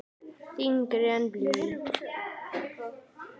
Þyngri en blý.